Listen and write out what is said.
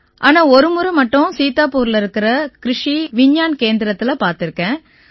ஆனா ஒருமுறை மட்டும் சீதாபுர்ல இருக்கற கிருஷி விஞ்ஞான் கேந்திரத்தில பார்த்திருக்கேன்